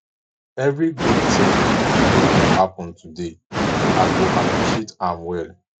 evri gud tin wey go happen today i go appreciate am well